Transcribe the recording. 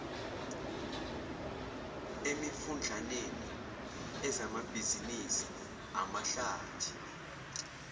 emifudlaneni ezamabhizinisi amahlathi